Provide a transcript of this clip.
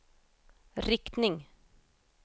riktning